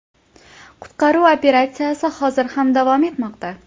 Qutqaruv operatsiyasi hozir ham davom etmoqda.